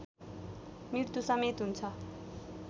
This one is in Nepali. मृत्युसमेत हुन्छ